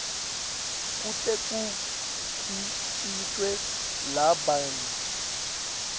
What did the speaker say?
kute kukhicitwe labanye